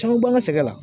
Caman b'an ka sɛgɛn la